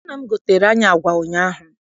Nna m goteere anyị agwa ụnyaahụ.